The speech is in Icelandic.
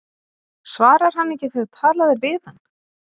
Svarar hann ekki þegar talað er við hann?